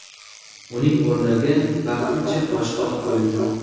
Uning o‘rniga vaqtincha boshqa odam qo‘yildi.